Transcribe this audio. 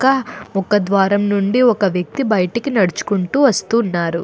ఒక ద్వారం నుండి ఒక వ్యక్తి బయటకు నడుచుకుంటూ వస్తున్నాడు.